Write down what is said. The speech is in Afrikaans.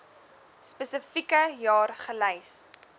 spesifieke jaar gelys